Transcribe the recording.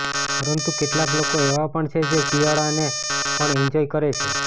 પરંતુ કેટલાક લોકો એવા પણ છે જે શિયાળાને પણ એન્જોય કરે છે